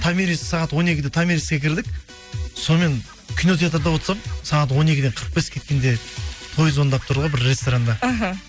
томирис сағат он екіде томириске кірдік сонымен кино театрда отырсам сағат он екіден қырық бес кеткенде той звондап тұр ғой бір ресторанда іхі